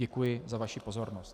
Děkuji za vaši pozornost.